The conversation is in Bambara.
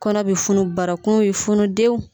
Kɔnɔ bɛ funu barakun bɛ funu dewu.